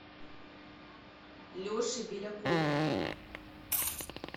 леше белякову